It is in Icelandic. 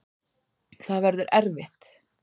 Það verður erfitt.